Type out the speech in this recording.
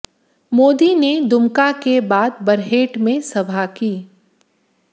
मोदी ने दुमका के बाद बरहेट में सभा की